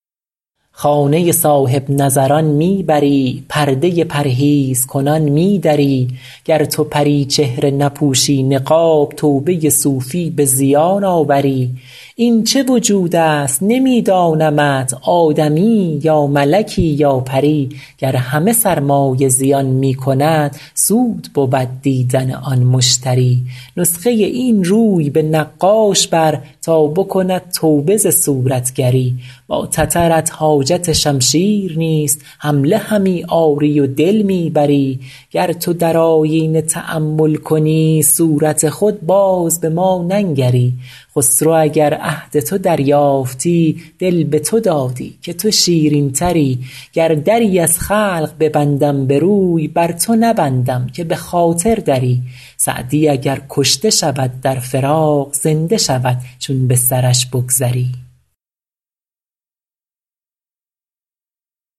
خانه صاحب نظران می بری پرده پرهیزکنان می دری گر تو پری چهره نپوشی نقاب توبه صوفی به زیان آوری این چه وجود است نمی دانمت آدمیی یا ملکی یا پری گر همه سرمایه زیان می کند سود بود دیدن آن مشتری نسخه این روی به نقاش بر تا بکند توبه ز صورتگری با تترت حاجت شمشیر نیست حمله همی آری و دل می بری گر تو در آیینه تأمل کنی صورت خود باز به ما ننگری خسرو اگر عهد تو دریافتی دل به تو دادی که تو شیرین تری گر دری از خلق ببندم به روی بر تو نبندم که به خاطر دری سعدی اگر کشته شود در فراق زنده شود چون به سرش بگذری